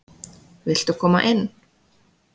Viltu koma inn?